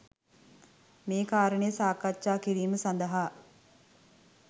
මේ කාරණය සාකච්ඡා කිරීම සඳහා